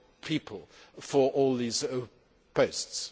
people for all these posts.